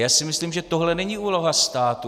Já si myslím, že tohle není úloha státu.